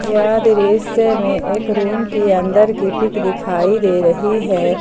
यह दृश्य में एक रूम के अंदर की पिक दिखाई दे रही है।